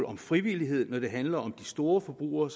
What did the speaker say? om frivillighed når det handler om storforbrugere